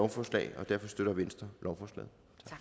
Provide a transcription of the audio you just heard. forslag og derfor støtter venstre lovforslaget